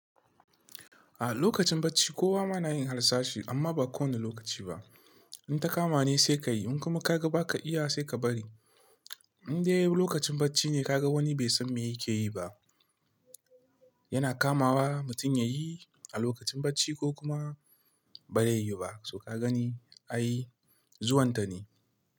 A lokacin bacci kowa ma na yin harsashi amma ba kowane lokaci ba. In ta kama ne sai ka yi in kuma ka ga ba ka iya sai ka bari. Indai lokacin bacci ne kaga wani bai san me yake yi ba, yana kamawa mutum ya yi a lokacin bacci ko kuma ba zai yi ba, to ka gani ai zuwan ta ne.